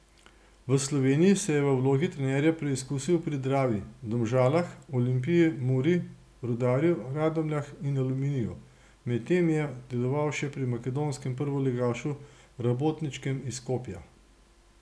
V Sloveniji se je v vlogi trenerja preizkusil pri Dravi, Domžalah, Olimpiji, Muri, Rudarju, Radomljah in Aluminiju, med tem je deloval še pri makedonskem prvoligašu Rabotničkem iz Skopja.